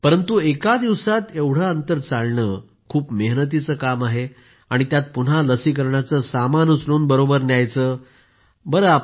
परंतु एका दिवसात एवढं अंतर चालणं खूप मेहनतीचं काम आहे आणि त्यात पुन्हा लसीकरणाचं सामान उचलून बरोबर न्यायचं